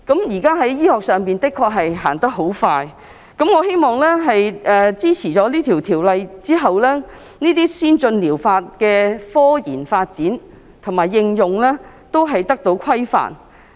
現代醫學一日千里，我希望《條例草案》獲通過後，這些先進療法製品的科研發展和應用都得到規範。